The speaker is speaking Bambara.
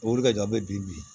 O wuli ka jan an bɛ bi